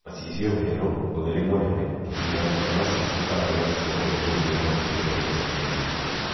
Macicio merũ, ũtheri mũnene, kĩgirarĩ kia macicio kana lens cia kũnenehia no citethia kĩmbĩrĩrianĩ.